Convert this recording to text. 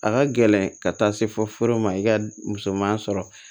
A ka gɛlɛn ka taa se fɔ foro ma i ka musoman sɔrɔ